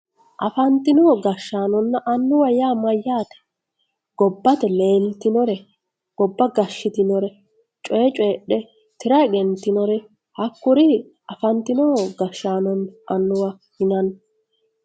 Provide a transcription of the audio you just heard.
afantino gashshaanonna annuwa yaa mayyaate? gobbate leeltinore gobba gashshitinore coye coyiidge tira egentinore hakkuri afantino gashshaanonna annuwa yinanni